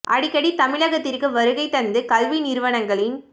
அடிக்கடி தமிழகத்திற்கு வருகை தந்து கல்வி நிறுவனங்களின்